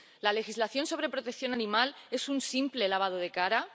La legislación sobre protección animal ¿es un simple lavado de cara?